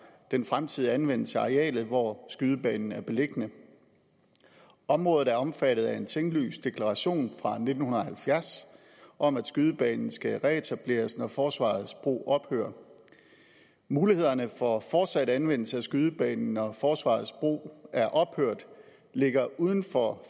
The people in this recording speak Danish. den fremtidige anvendelse af arealet hvor skydebanen er beliggende området er omfattet af en tinglyst deklaration fra nitten halvfjerds om at skydebanen skal reetableres når forsvarets brug ophører mulighederne for fortsat anvendelse af skydebanen når forsvarets brug er ophørt ligger uden for